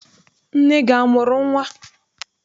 Nne gị amụrụ nnwa?